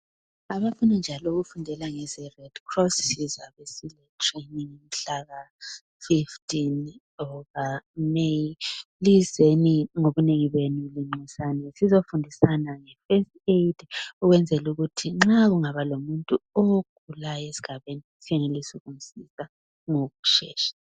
Abafuna njalo ukufundela ngeze redcross sizaba sisembuthanweni mhlaka 15 May lizeni ngobunengi benu linxusane sizofundisana nge first aid ukwenzela ukuthi nxa kungaba lomuntu ogulayo esigabeni senelisa ukumsiza ngokushesha